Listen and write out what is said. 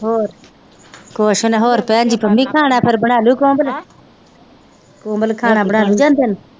ਹੋਰ